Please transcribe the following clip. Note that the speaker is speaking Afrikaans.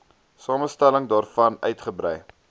samestelling daarvan uitgebrei